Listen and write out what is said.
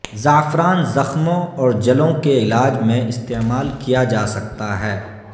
زعفران زخموں اور جلوں کے علاج میں استعمال کیا جا سکتا ہے